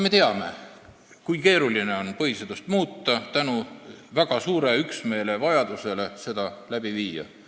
Me teame, kui keeruline on põhiseadust muuta, sest on vaja väga suurt üksmeelt selle läbiviimiseks.